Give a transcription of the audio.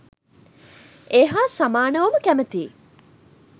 ඒ හා සමානවම කැමතියි.